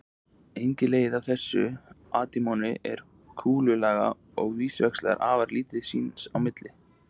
Einnig leiðir af þessu að atómin eru kúlulaga og víxlverka afar lítið sín á milli.